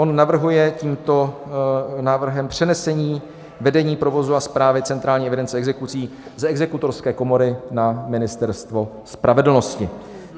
On navrhuje tímto návrhem přenesení vedení provozu a správy centrální evidence exekucí z Exekutorské komory na Ministerstvo spravedlnosti.